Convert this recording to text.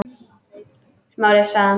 Smári- sagði hann.